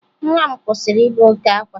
Nwa m kwụsịrị ibe oke ákwá